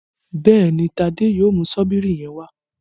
Béèni Tade yóò mú Ṣọ́bìrì yén wá.